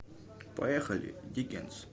поехали диккенс